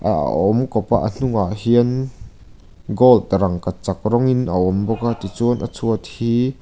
a awm kawpa a hnungah hian gold rangkachak rawngin a awm bawka tichuan a chhuat hi--